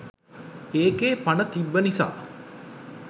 ඒකෙ පණ තිබ්බ නිසා